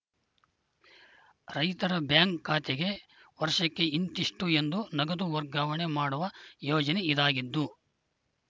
ರೈತರ ಬ್ಯಾಂಕ್‌ ಖಾತೆಗೆ ವರ್ಷಕ್ಕೆ ಇಂತಿಷ್ಟುಎಂದು ನಗದು ವರ್ಗಾವಣೆ ಮಾಡುವ ಯೋಜನೆ ಇದಾಗಿದ್ದು